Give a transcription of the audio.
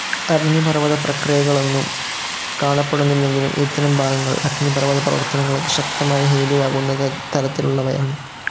അഗ്നിപർവ്വത പ്രക്രിയകളൊന്നും കാണപ്പെടുന്നില്ലെങ്കിലും ഇത്തരം ഭാഗങ്ങൾ അഗ്നിപർവ്വത പ്രവർത്തനങ്ങൾക്ക് ശക്തമായ ഹേതുവാകുന്ന തരത്തിലുള്ളവയാണ്‌.